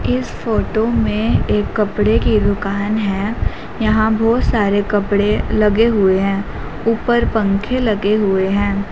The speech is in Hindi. इस फोटो में एक कपड़े की दुकान है यहां बहुत सारे कपड़े लगे हुए हैं ऊपर पंखे लगे हुए हैं।